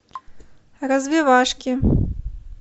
развивашки